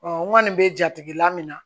n kɔni bɛ jatigila min na